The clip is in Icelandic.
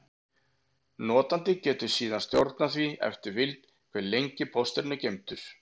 Notandi getur síðan stjórnað því eftir vild, hve lengi pósturinn er geymdur.